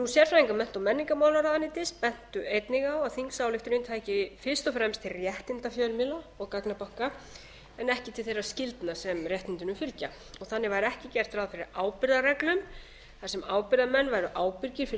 sérfræðingar mennta og menningarmálaráðuneytis bentu einnig á að þingsályktunin tæki fyrst og fremst til réttinda fjölmiðla og gagnabanka en ekki til þeirra skyldna sem réttindunum fylgja og þannig væri ekki gert ráð fyrir ábyrgðarreglum þar sem ábyrgðarmenn væru ábyrgir